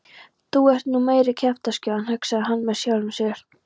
Þú ert nú meiri kjaftaskjóðan hugsaði hann með sjálfum sér.